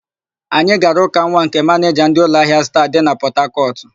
Anyị gara ụka nwa nke manịja ndị ụlọahịa Star dị na Pọtakọtụ.